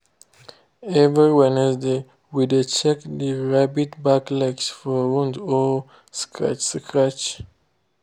every wednesday we dey check the rabbits’ back legs for wound or scratch scratch.